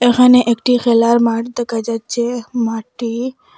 এখানে একটি খেলার মাঠ দেখা যাচ্ছে মাঠটি--